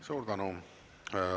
Suur tänu!